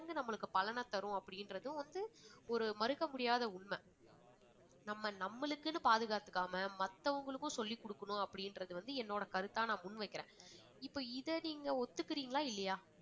நம்மளுக்கு பலனைத்தரும் அப்படின்றதும் வந்து ஒரு மறுக்க முடியாத உண்மை நம்ம நம்மளுக்குன்னு பாதுகாத்துக்காம மத்தவங்களுக்கு சொல்லிக்கொடுக்கணும் அப்படின்றது வந்து என்னோட கருத்தா நான் முன்வைக்கிறேன். இப்போ இத நீங்க ஒத்துக்கறீங்களா இல்லையா?